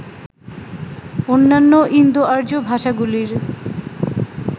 অন্যান্য ইন্দোআর্য ভাষাগুলির